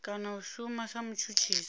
kana a shuma sa mutshutshisi